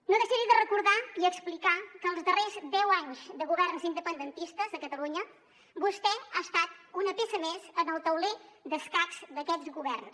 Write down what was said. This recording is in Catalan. no deixaré de recordar i explicar que els darrers deu anys de governs independentistes a catalunya vostè ha estat una peça més en el tauler d’escacs d’aquests governs